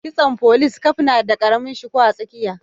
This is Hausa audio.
Kitson folice caf na da karamin shuku a tsakiya